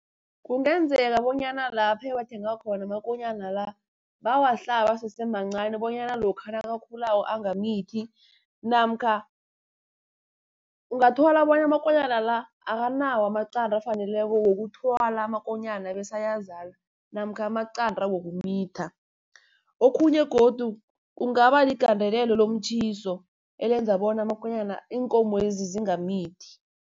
Kungenzeka bonyana lapha ewathenga khona amakonyana la, bawahlaba asese mancani bonyana lokha nakakhulako angamithi. Namkha ungathola bona amakonyana la akanawo amaqanda afaneleko wokuthwala amakonyana, bese ayazala namkha amaqanda wokumitha. Okhunye godu kungaba ligandelelo lomtjhiso, elenza bona iinkomo lezi zingamithi.